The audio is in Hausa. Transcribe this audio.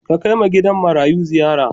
Ka kai ma gidan marayun ziyara.